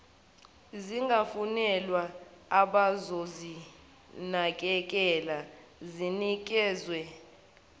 zingafunelwa abazozinakekela zinikezwe